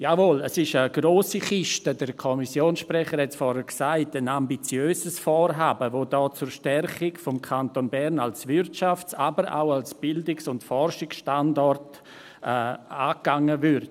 Jawohl, es ist eine grosse Kiste – der Kommissionssprecher hat es vorhin gesagt – und ein ambitiöses Vorhaben, das hier zur Stärkung des Kantons Bern als Wirtschafts-, aber auch als Bildungs- und Forschungsstandort angegangen würde.